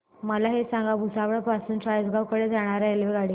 मला हे सांगा भुसावळ पासून चाळीसगाव कडे जाणार्या रेल्वेगाडी